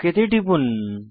okay তে টিপুন